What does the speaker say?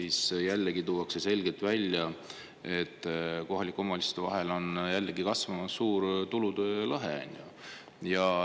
Seal tuuakse selgelt välja, et kohalike omavalitsuste vahel on jällegi kasvamas suur tulude lõhe.